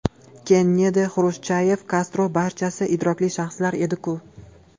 Kennedi, Xrushchyov, Kastro – barchasi idrokli shaxslar edi-ku.